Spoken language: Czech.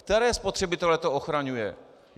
Které spotřebitele to ochraňuje?